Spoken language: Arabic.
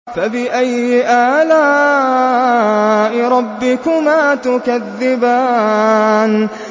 فَبِأَيِّ آلَاءِ رَبِّكُمَا تُكَذِّبَانِ